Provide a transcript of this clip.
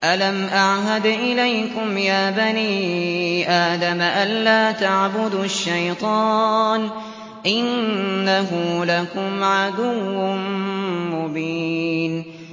۞ أَلَمْ أَعْهَدْ إِلَيْكُمْ يَا بَنِي آدَمَ أَن لَّا تَعْبُدُوا الشَّيْطَانَ ۖ إِنَّهُ لَكُمْ عَدُوٌّ مُّبِينٌ